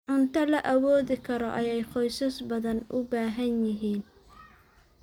Cunto la awoodi karo ayaa qoysas badan u baahan yihiin.